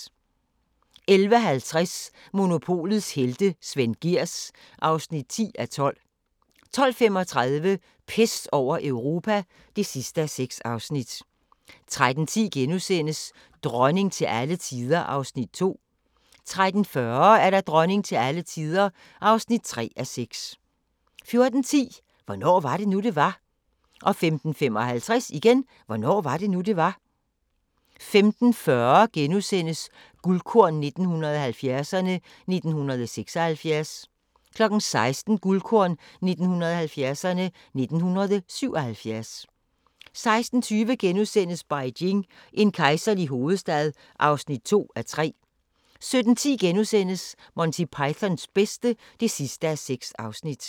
11:50: Monopolets helte - Svend Gehrs (10:12) 12:35: Pest over Europa (6:6) 13:10: Dronning til alle tider (2:6)* 13:40: Dronning til alle tider (3:6) 14:10: Hvornår var det nu, det var? * 14:55: Hvornår var det nu, det var? 15:40: Guldkorn 1970'erne: 1976 * 16:00: Guldkorn 1970'erne: 1977 16:20: Beijing – en kejserlig hovedstad (2:3)* 17:10: Monty Pythons bedste (6:6)*